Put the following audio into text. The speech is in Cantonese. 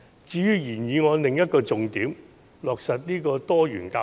至於原議案的另一個重點是落實多元教育。